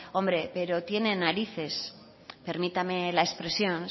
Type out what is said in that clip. hombre pero tienen narices permítame la expresión